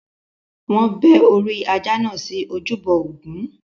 Wọn bẹ́ orí ajá náà sí ojúbọ Ògún.